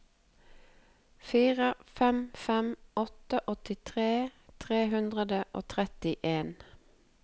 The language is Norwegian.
fire fem fem åtte åttitre tre hundre og trettien